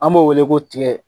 An b'o weele ko tigɛ.